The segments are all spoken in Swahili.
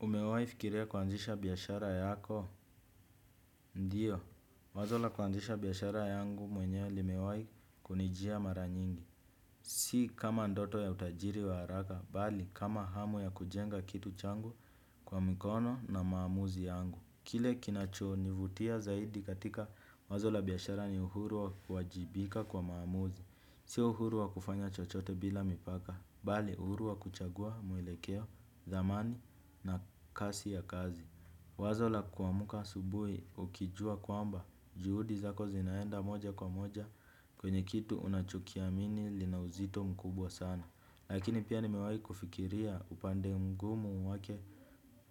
Umewaifikiria kuanzisha biashara yako? Ndiyo, wazo la kuanzisha biashara yangu mwenyewe limewai kunijia mara nyingi. Si kama ndoto ya utajiri wa haraka, bali kama hamu ya kujenga kitu changu kwa mikono na maamuzi yangu. Kile kinachonivutia zaidi katika wazo la biashara ni uhuru wa kuajibika kwa maamuzi. Sio uhuru wa kufanya chochote bila mipaka, bali uhuru wa kuchagua mwelekeo thamani na kasi ya kazi. Wazo la kuamuka asubuhi ukijua kwamba juhudi zako zinaenda moja kwa moja kwenye kitu unachokiamini lina uzito mkubwa sana. Lakini pia nimewai kufikiria upande mgumu wake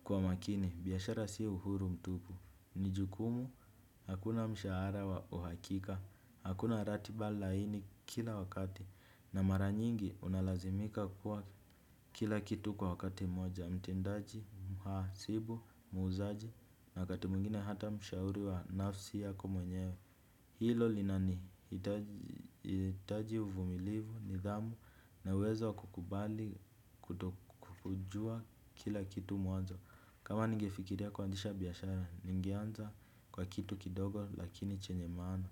kwa makini biashara sio uhuru mtupu. Ni jukumu, hakuna mshahara wa uhakika, hakuna ratiba laini kila wakati. Na mara nyingi unalazimika kuwa kila kitu kwa wakati moja, mtendaji, mhasibu, muuzaji na wakati mwingine hata mshauri wa nafsi yako mwenyewe. Hilo linanihitaji uvumilivu, nidhamu na uwezo wa kukubali kuto kujua kila kitu mwanzo. Kama ningefikiria kuanzisha biashara, ningeanza kwa kitu kidogo lakini chenye maana.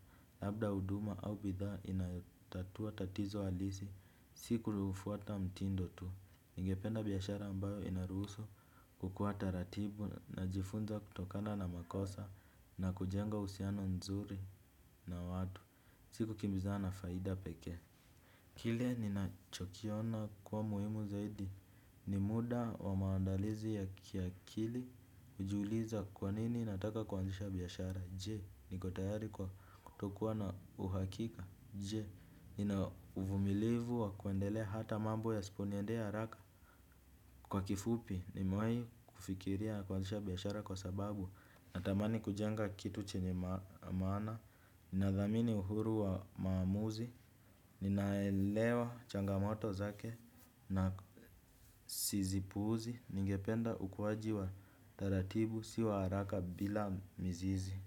Labda huduma au bidhaa inayotatua tatizo alisi, siku unaofuata mtindo tu. Ningependa biashara ambayo inaruhusu kukuwa taratibu najifunza kutokana na makosa na kujenga uhusiano nzuri na watu. Si kukimbizana na faida pekee. Kile ninachokiona kuwa muhimu zaidi, ni muda wa maandalizi ya kiakili ujiuliza kwa nini nataka kuanzisha biashara, jee, niko tayari kwa kutokuwa na uhakika, jee, nina uvumilivu wa kuendelea hata mambo yasiponiendea haraka. Kwa kifupi nimewai kufikiria kuanzisha biashara kwa sababu natamani kujenga kitu chenye maana. Ninadhamini uhuru wa maamuzi, ninaelewa changamoto zake na si zipuuzi. Ningependa ukuwaji wa taratibu si wa haraka bila mizizi.